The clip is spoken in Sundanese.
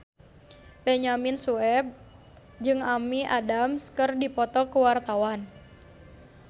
Benyamin Sueb jeung Amy Adams keur dipoto ku wartawan